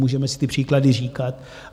Můžeme si ty příklady říkat.